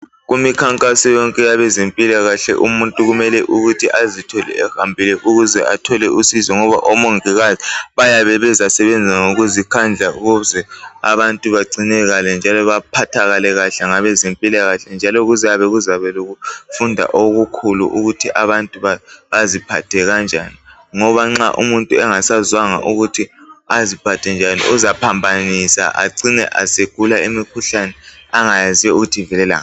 Kumikhankaso yonke yabezempilakahle, umuntu kumele ukuthi azithole ehambile. Ukuze athole usizo. Ngoba omongikazi bayabe bezasebenza ngokuzikhandla. Ukuze abantu bagcinakale, njalo baphathakale kahle ngabezempilakahle. Njalo kuzabe kulokufunda okukhulu, ukuthi abantu baziphathe kanjani. Ngoba nxa umuntu engasazwanga ukuthi aziphathe njani, uzaphambanisa. Acine esegula imikhuhlane angayaziyo ukuthi ivelela ngaphi.